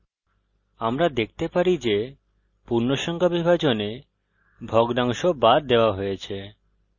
আমরা দেখতে পারি যে পূর্ণসংখ্যা বিভাজনে ভগ্নাংশ বাদ দেওয়া হয়েছে